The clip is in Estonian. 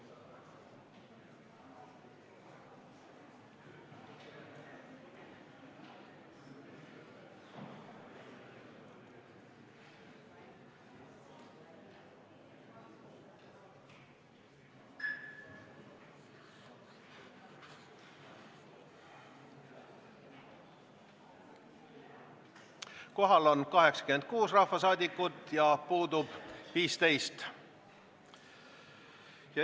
Kohaloleku kontroll Kohal on 86 rahvasaadikut, puudub 15.